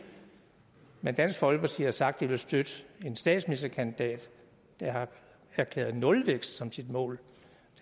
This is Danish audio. men dansk folkeparti har sagt de vil støtte en statsministerkandidat der har erklæret nulvækst som sit mål